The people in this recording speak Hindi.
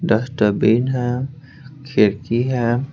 दस्त बीन है खिरकी है।